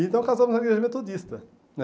Então casamos na igreja metodista né.